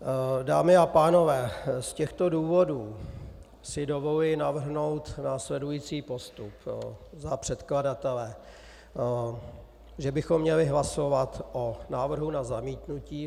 Dámy a pánové, z těchto důvodů si dovoluji navrhnout následující postup za předkladatele - že bychom měli hlasovat o návrhu na zamítnutí.